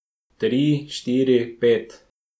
Tri, štiri, pet.